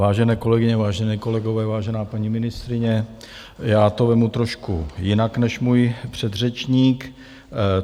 Vážené kolegyně, vážení kolegové, vážená paní ministryně, já to vezmu trošku jinak než můj předřečník.